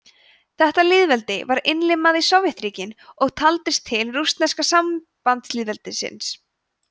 þetta lýðveldi var innlimað í sovétríkin og taldist til rússneska sambandslýðveldisins